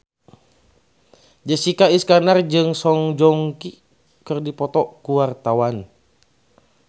Jessica Iskandar jeung Song Joong Ki keur dipoto ku wartawan